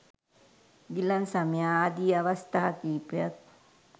ගිලන් සමය ආදි අවස්ථා කිහිපයක්